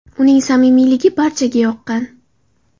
Uning samimiyligi barchaga yoqqan.